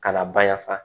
Ka na bayaa